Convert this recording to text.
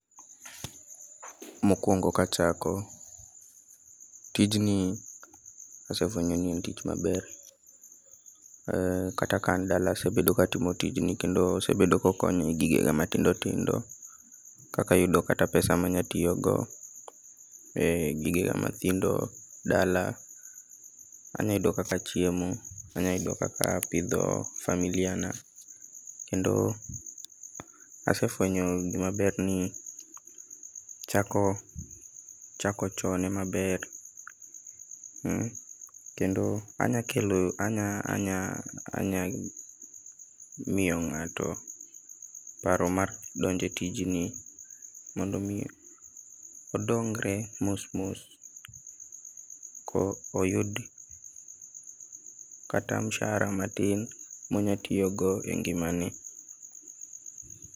Mokuongo ka achako, tijni asefuenyo ni en tich maber. Ee kata ka an dala asebedo ka atimo tijni kendo osebedo ka okonya e gigega matindo tindo kaka yudo kata pesa ma anyalo tiyogo, ee gigena mathindo dala, anyalo yudo kaka achiemo, anyalo yudo kaka apidho familia na, kendo asefuenyo gima ber ni chako chako chon ema ber. Kendo anya kelo anya anya miyo ng'ato paro mar donjo e tijni mondo mi odongre mos mos koyud kata msara matin monya tiyogo engimane.